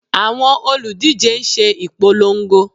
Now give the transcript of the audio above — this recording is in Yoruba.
Àwọn olùdíje ń ṣe ipolongo